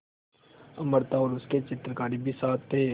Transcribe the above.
अमृता और उसके चित्रकार भी साथ थे